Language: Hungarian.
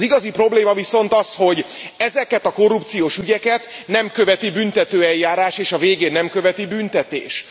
Az igazi probléma viszont az, hogy ezeket a korrupciós ügyeket nem követi büntetőeljárás és a végén büntetés.